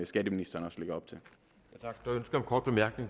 skatteministeren også lægger op